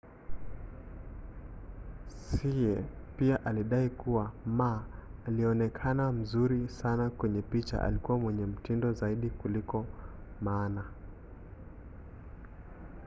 hsieh pia alidai kuwa ma aliyeonekana mzuri sana kwenye picha alikuwa mwenye mtindo zaidi kuliko maana